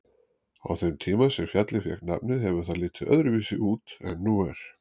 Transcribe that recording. Á þeim tíma sem fjallið fékk nafnið hefur það litið öðruvísi út en nú er.